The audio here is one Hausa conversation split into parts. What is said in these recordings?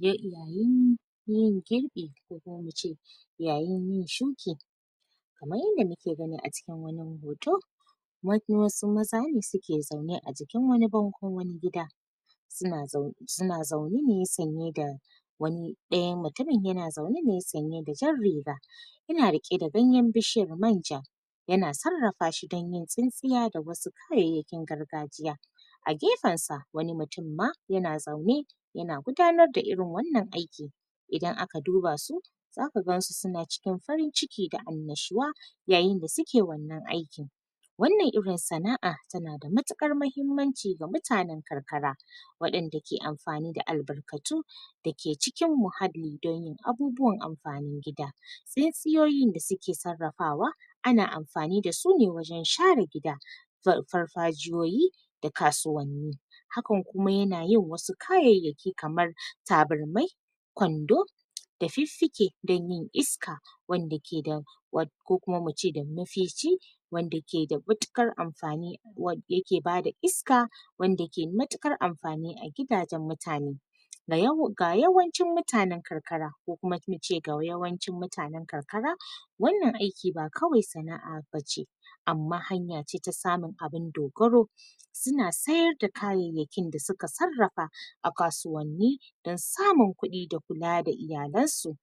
Iyalin yin girbi da zamu ce, yayin yin shuƙi kamar yanda mu ke gani a cikin wannan hoto wani wasu maza ne su ke zaune a jikin wani bango, wani gida su na, su na zaune ne sanye da wani daya mutumin, ya na zaune ne tsanye da jan riga ina rike da ganyer bishiyar manja ya na tsarafa shi dan yin sinsiya da wasu kayayakin gargajiya a gefen sa, wani mutum ma, ya na zaune ya na gudanar da irin wannan aiki idan a ka duba su za ka gan su, su na cikin farin ciki da amnashuwa yayin da su ke wannan aikin wannan irin sanaa, ta na da matukar mahimmanci ga mutanen kankara wadanda ke amfani da albarkatu da ke cikin muhalli dan yin abubuwan amfanin gida. Sai tsiyoyin da su ke tsarafawa ana amfani dasu ne wajen share gida far farfajiyoyi, da kasuwani. Hakan kuma ya na yin wasu kayayaki kamar taburmai kwando da fifike dan yin iska wanda ke da war ko kuma mu ce da wanda ke da matukar amfani war ya ke bada iska wanda ke matukar amfani a gidajen mutani daya, da ga yawancin mutanen karkara ko kuma mu ce ga yawancin mutanen kankara wannan aiki ba kawai sana'a ba ce, amma hanya ce ta samun abun dogaro su na sayar da kayayaki da su ka tsarafa a kasuwani dan samun kudi da kula da iyalen su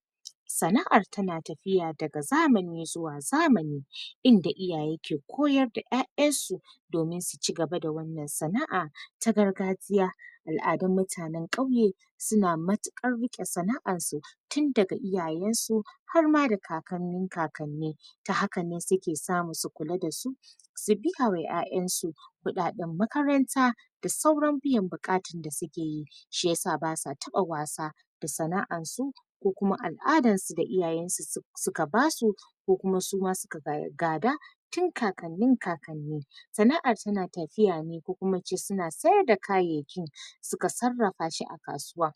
sana'ar ta na tafiya da ga zamani zuwa zamani inda iyaye ke koyar da ƴaƴar su domin su cigaba da wannan sana'a ta gargajiya, al'adun mutane kauye su na matukar rike sana'ar su tun da ga iyayen su har ma da kakannin kakanne. Ta haka ne su ke samu su kula da su su da ƴaƴan su, kudaden makaranta da sauran biyan bukatan da su ke yi shi ya sa ba sa tabba wasa, da sana'an su ko kuma al'adan su da iyayen su, su ka basu ko kuma su ma su ka ga gada tun kakannin kakanni sana'ar ta na tafiya ne ko kuma in ce su na sayar da kayaki su ka tsarafa shi a kasuwa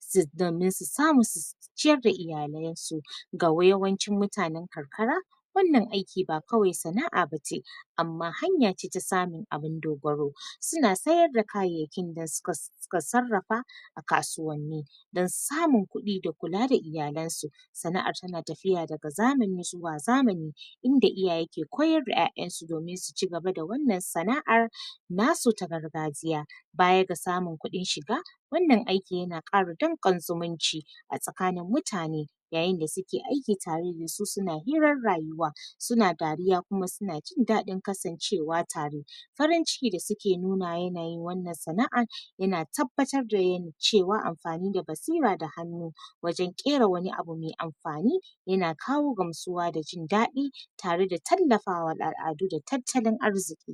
su domin su samu, su ciyar da iyalen su ga wa yawancin mutanen kankara wannan aiki ba kawai sana'a ba ce, amma hanya ce ta samun abun dubarau. su na sayar da kayakin da su ka, su ka tsarafa a kasuwani, dan samun kudi da kula da iyalen su sana'ar ta na tafiya da ga zamani zuwa zamani inda iyaye ko koyar da ƴaƴan su domin su cigaba da wannan sana'ar na su ta gargajiya bayar ga samun kudin shiga wannan aiki ya na kara ɗanƙon zumunci a tsakanin mutane. Yayin da su ke aiki tare da su, su suna hirar rayuwa suna dariya ko kuma su na jindadin kasancewa tare farinciki da suke nuna yanayin wannan sana'ar ya na tabbatar da yani cewa amfani da batsira da hanu wajen ƙera wani abu ma amfani ya na kawo gamsuwa, da jindadi tare da tallafa wa al'adu da tatallin arziki.